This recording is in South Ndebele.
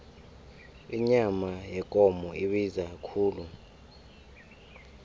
inyama yekomo ibiza khulu